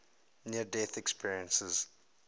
near death experiences